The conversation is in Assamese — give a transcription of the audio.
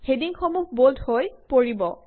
হেডিংসমূহ বল্ড হৈ পৰিব